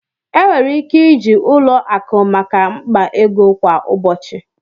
Enwere ike iji ụlọ akụ maka mkpa ego kwa ụbọchị